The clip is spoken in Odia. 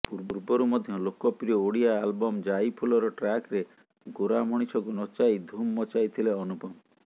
ପୂର୍ବରୁ ମଧ୍ୟ ଲୋକପ୍ରିୟ ଓଡ଼ିଆ ଆଲବମ୍ ଜାଇଫୁଲର ଟ୍ରାକରେ ଗୋରା ମଣିଷକୁ ନଚାଇ ଧୁମ୍ ମଚାଇଥିଲେ ଅନୁପମ